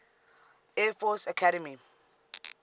air force academy